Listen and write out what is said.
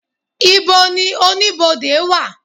ibò ní Oníbodè wa?